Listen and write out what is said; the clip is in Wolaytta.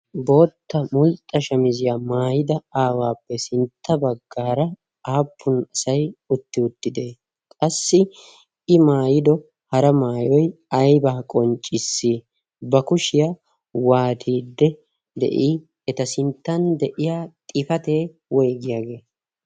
Bootta mulxxa shamiziya maayida aawappe sintta baggaara aappun asay uttiwuttidee? Qassi I maayido hara maayoy aybaa qonccissii? Ba kushiya waatiidde de'ii? Eta sinttan de'iya xifatee woygiyagee?